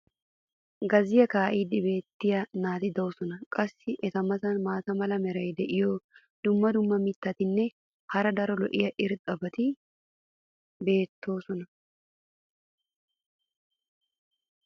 gazziya kaa'iidi beetiya naati doosona. qassi eta matan maata mala meray diyo dumma dumma mitatinne hara daro lo'iya irxxabati beetoosona.